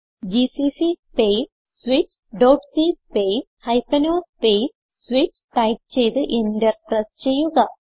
GCC space switchസി space o space switch type ചെയ്ത് enter press ചെയ്യുക